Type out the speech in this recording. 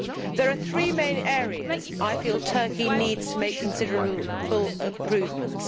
There are three main areas where I feel Turkey needs to make considerable improvements.